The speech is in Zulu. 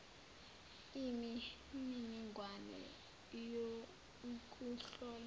imi niningwane youkuhlola